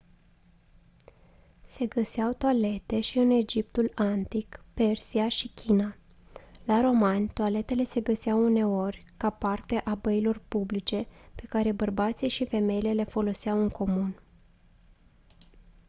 se găseau toalete și în egiptul antic persia și china la romani toaletele se găseau uneori ca parte a băilor publice pe care bărbații și femeile le foloseau în comun